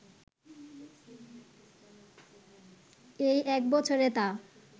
এই এক বছরে তা